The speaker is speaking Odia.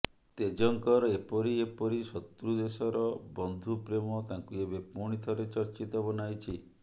ତେଜ୍ଙ୍କର ଏପରି ଏପରି ଶତ୍ରୁ ଦେଶର ବନ୍ଧୁ ପ୍ରେମ ତାଙ୍କୁ ଏବେ ପୁଣି ଥରେ ଚର୍ଚ୍ଚିତ ବନାଇଛି